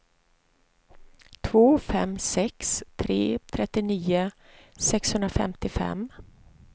två fem sex tre trettionio sexhundrafemtiofem